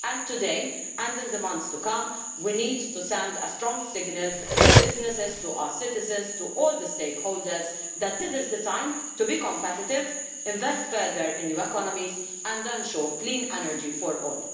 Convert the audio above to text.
Today, and in the months to come, we need to send a strong signal to businesses, citizens and all stakeholders that this is the time to be competitive, invest further in new economies and ensure clean energy for all.